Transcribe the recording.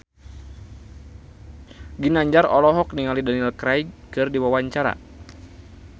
Ginanjar olohok ningali Daniel Craig keur diwawancara